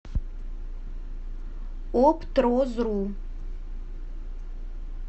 оптрозру